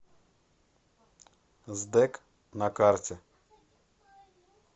сдэк на карте